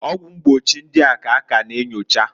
Ọgwụ mgbochi ọya ndia ka a ka na enyocha.